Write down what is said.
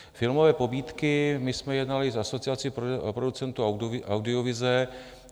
Filmové pobídky - my jsme jednali s Asociací producentů audiovize.